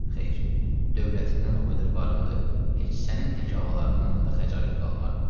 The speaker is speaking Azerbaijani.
Xeyr, dövlətimdən o qədər varımdır, heç sənin tək ağaların yanında xəcalət qalmaram.